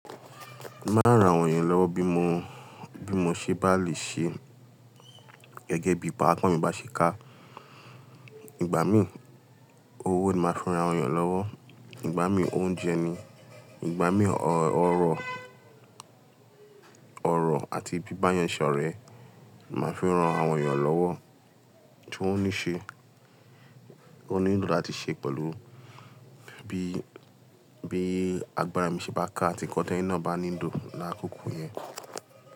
Máa rán àwọn èèyàn lọ́wọ́ bí mo, bí mo ṣe bá lè ṣe gẹ́gẹ́ bí i paápọ̀ mi bá ṣe ká. Ìgbà mí owó ni màá fi rán àwọn èèyàn lọ́wọ́, ìgbà mí oúnjẹ ni, ìgbà mí ọ̀rọ̀, ọ̀rọ̀ àti bíbáyẹnsọ ọ̀rẹ́ màá fi rán àwọn èèyàn lọ́wọ́ tí wọ́n ní ṣe, wọ́n ní ń dùn láti ṣe pẹ̀lú bí, bí agbára mi ṣe bá ká àti ki ọ̀tẹ́ yín náà bá ní dùn láti kókun yẹn.